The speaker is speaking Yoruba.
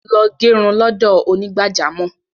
Lọ gẹrun lọ́dọ̀ onígbàjámọ̀